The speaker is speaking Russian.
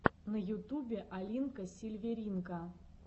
на ютубе алинка сильверинка